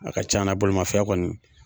A ka c'ana bolimafɛn kɔni